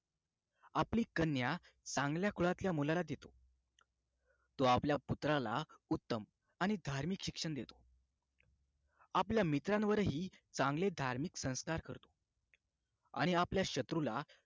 आपली कन्या चांगल्या कुळातल्या मुलाला देतो तो आपल्या पुत्राला उत्तम आणि धार्मिक शिक्षण देतो आपल्या मित्रांवर ही चांगले धार्मिक संस्कार करतो आणि आपल्या शत्रूला